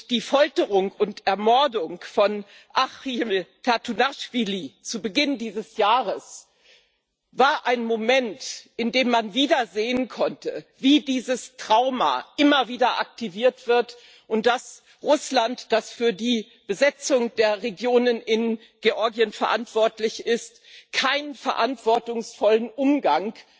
Die Folterung und Ermordung von Archil Tatunaschwili zu Beginn dieses Jahres war ein Moment, in dem man wieder sehen konnte, wie dieses Trauma immer wieder aktiviert wird, und dass Russland, das für die Besetzung der Regionen in Georgien verantwortlich ist, bisher keinen verantwortungsvollen Umgang